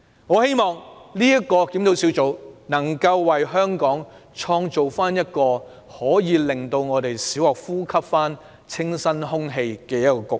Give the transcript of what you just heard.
我希望專責小組能為香港創造一個能讓本港小學重新呼吸到清新空氣的局面。